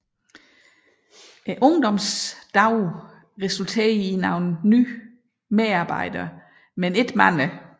Ungdomsdagene resulterede i nogle nye medarbejdere men ikke mange